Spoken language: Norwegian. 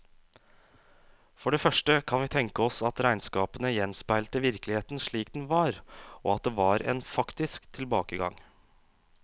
For det første kan vi tenke oss at regnskapene gjenspeilte virkeligheten slik den var, og at det var en faktisk tilbakegang.